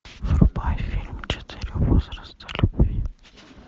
врубай фильм четыре возраста любви